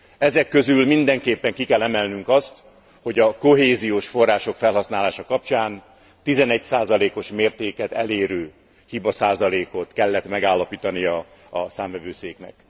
Ezek közül mindenképpen ki kell emelnünk azt, hogy a kohéziós források felhasználása kapcsán 11 os mértéket elérő hibaszázalékot kellett megállapítania a Számvevőszéknek.